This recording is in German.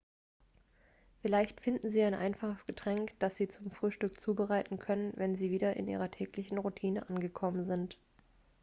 vielleicht finden sie ein einfaches getränk dass sie zum frühstück zubereiten können wenn sie wieder in ihrer täglichen routine angekommen sind